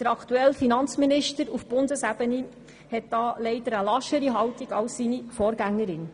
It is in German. Der aktuelle Finanzminister auf Bundesebene hat da leider eine laschere Haltung als seine Vorgängerin.